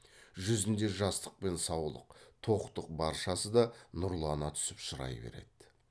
жүзінде жастық пен саулық тоқтық баршасы да нұрлана түсіп шырай береді